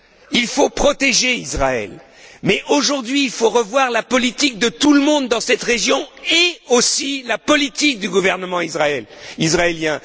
Il faut protéger Israël, mais, aujourd'hui, il faut revoir la politique de tout le monde dans cette région et également la politique du gouvernement israélien.